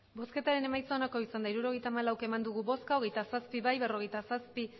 emandako botoak hirurogeita hamalau bai hogeita zazpi ez berrogeita zazpi